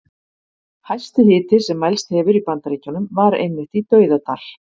Hæsti hiti sem mælst hefur í Bandaríkjunum var einmitt í Dauðadal.